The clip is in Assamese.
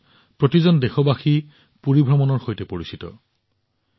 ওড়িশাত প্ৰতিজন দেশবাসী পুৰী ভ্ৰমণৰ সৈতে পৰিচিত